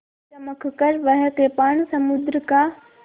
चमककर वह कृपाण समुद्र का